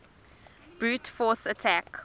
brute force attack